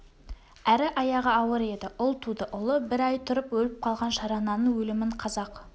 әрі аяғы ауыр еді ұл туды ұлы бір ай тұрып өліп қалған шарананың өлімін қазақ